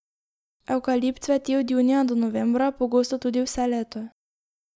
Evkalipt cveti od junija do novembra, pogosto tudi vse leto.